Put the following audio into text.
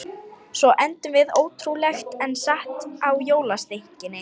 Svo endum við, ótrúlegt en satt, á jólasteikinni.